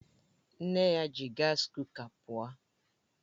Nne ya ji gas kuka pụọ